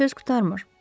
Söz qurtarmır.